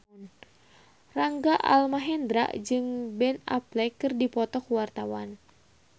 Rangga Almahendra jeung Ben Affleck keur dipoto ku wartawan